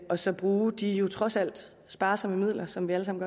og så bruge de jo trods alt sparsomme midler som vi alle sammen